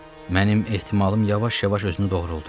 Mənim ehtimalım yavaş-yavaş özünü doğruludur.